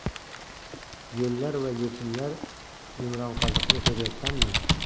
Yo‘llar va yechimlar Yumronqoziqni ko‘ryapsanmi?